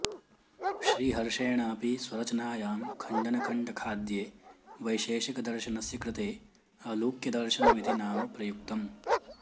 श्रीहर्षेणापि स्वरचनायां खण्डनखण्डखाद्ये वैशेषिक दर्शनस्य कृते औलूक्यदर्शनमिति नाम प्रयुक्तम्